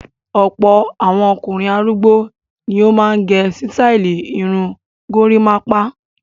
Ọ̀pọ̀ àwọn ọkùnrin arúgbó ni ó máa ń gẹ sítáálì irun gorímápá.